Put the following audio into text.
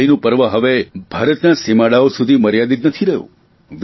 દિવાળીનું પર્વ હવે ભારતના સીમાડાઓ સુધી મર્યાદિત નથી રહ્યું